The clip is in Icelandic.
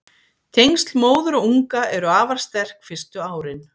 tengsl móður og unga eru afar sterk fyrstu árin